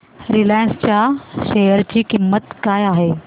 Reliance च्या share ची किंमत काय आहे